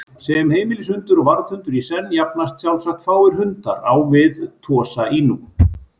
Sem heimilishundur og varðhundur í senn jafnast sjálfsagt fáir hundar á við Tosa Inu.